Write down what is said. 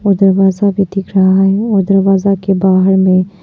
और दरवाजा भी दिख रहा है और दरवाजा के बाहर में--